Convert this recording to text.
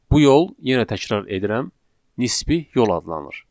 Bu yol, yenə təkrar edirəm, nisbi yol adlanır.